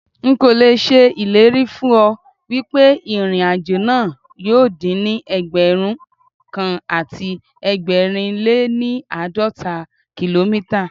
Nkò l'èṣe ìlérí fún ọ wípé ìrìn àjò náà yóò dín ní Ẹgbẹ̀rún kan àti ẹgbẹ̀rin lé ní àádọ́ta kìlómítà.